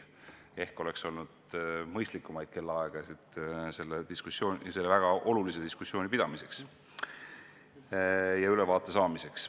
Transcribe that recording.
Ehk oleks olnud mõistlikumaid kellaaegasid selle väga olulise diskussiooni pidamiseks ja ülevaate saamiseks.